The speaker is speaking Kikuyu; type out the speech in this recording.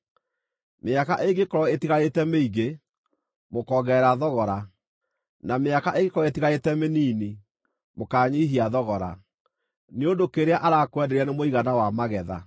Mĩaka ĩngĩkorwo ĩtigarĩte mĩingĩ, mũkongerera thogora, na mĩaka ĩngĩkorwo ĩtigarĩte mĩnini, mũkanyiihia thogora, nĩ ũndũ kĩrĩa arakwenderia nĩ mũigana wa magetha.